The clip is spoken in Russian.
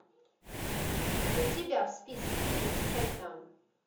у тебя в списке есть шайтан